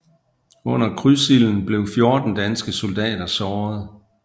Under krydsilden blev 14 danske soldater såret